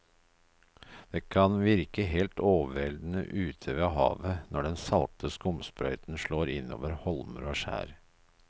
Det kan virke helt overveldende ute ved havet når den salte skumsprøyten slår innover holmer og skjær.